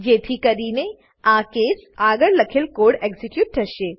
જેથી કરીને આ કેસ કેસ આગળ લખેલ કોડ એક્ઝીક્યુટ થશે